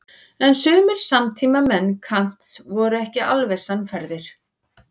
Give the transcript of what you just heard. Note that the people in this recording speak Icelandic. En sumir samtímamenn Kants voru ekki alveg sannfærðir.